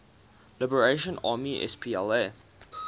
liberation army spla